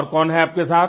और कौन है आपके साथ